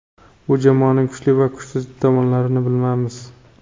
Bu jamoaning kuchli va kuchsiz tomonlarini bilamiz.